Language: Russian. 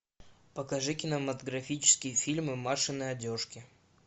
покажи кинематографические фильмы машины одежки